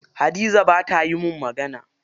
Hadiza bata yi mun magana.